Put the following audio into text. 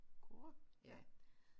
CORE ja